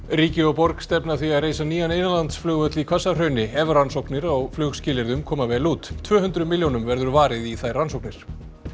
ríki og borg stefna að því að reisa nýjan innlandsflugvöll í Hvassahrauni ef rannsóknir á koma vel út tvö hundruð milljónum verður varið í þær rannsóknir